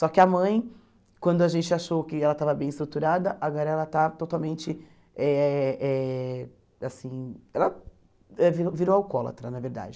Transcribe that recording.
Só que a mãe, quando a gente achou que ela estava bem estruturada, agora ela está totalmente eh eh assim... Ela ãh virou virou alcoólatra, na verdade.